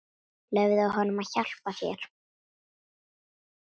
Leyfðu honum að hjálpa þér.